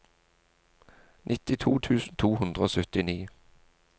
nittito tusen to hundre og syttini